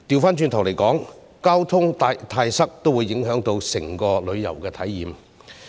反過來說，交通過於擠塞也會影響整體的旅遊體驗。